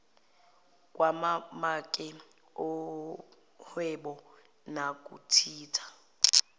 kwamamaki ohwebo nokuthinta